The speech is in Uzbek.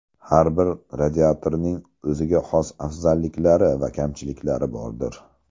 Har bir radiatorning o‘ziga xos afzalliklari va kamchiliklari bordir.